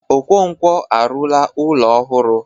Okonkwo arụla ụlọ ọhụrụ.